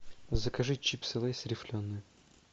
закажи чипсы лэйс рифленые